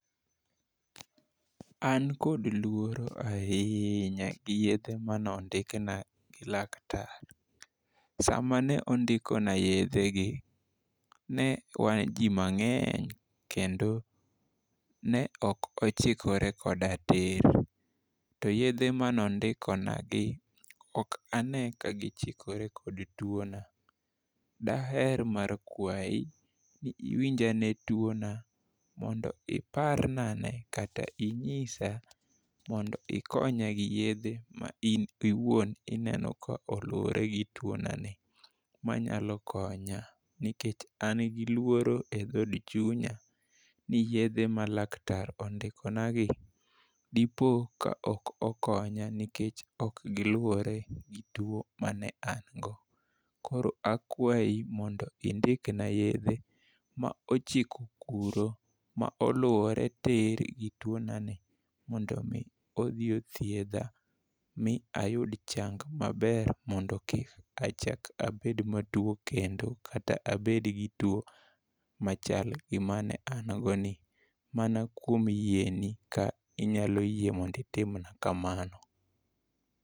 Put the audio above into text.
An kod luoro ahinya gi yedhe manondikna gi laktar. Sama ne ondiko na yedhe gi ne wan jii mang'eny kendo ne ok ochikore koda tiir. To yedhe manondiko na gii ok ane ka gichikore kod tuona. Daher mar kwayi ni iwinj ane tuona mondi parna ne kata inyisa mond ikonya gi yedhe ma in iwuon ineno koluwore gi tuona ni manyalo konya nikech, an gi luoro e dhod chunya ni yedhe ma laktar ondikona gi depo ka ok okonyo nikech ok giluwore gi to mane an go. Koro akwayi mond indik na uyedhe mochiko kuro moluowre tir gi tuonani mondo mii odhi othiedha mi ayud chang maber mondo kik achak abed matuo kendo kata abed gi tuo machal gi mane an go ni, mana kuom yieni ka inyalo yie mondi tim na kamano.